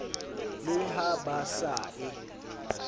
le ha ba sa e